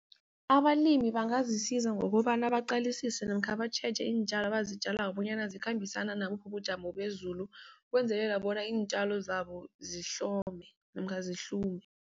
Abalimi bangazisiza ngokobana baqalisise namkha batjheje iintjalo abazitjalako bonyana zikhambisana nabuphi ubujamo bezulu. Ukwenzelela bona iintjalo zabo zihlome namkha zihlume.